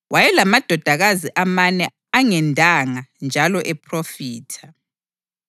Wayelamadodakazi amane angendanga njalo ephrofitha.